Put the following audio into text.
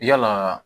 Yalaa